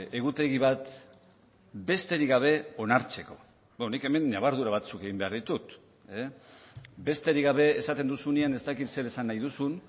egutegi bat besterik gabe onartzeko nik hemen ñabardura batzuk egin behar ditut besterik gabe esaten duzunean ez dakit zer esan nahi duzun